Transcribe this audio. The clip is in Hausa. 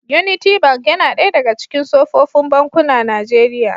Unity Bank yana ɗaya daga cikin sofofin bankuna Nijeriya.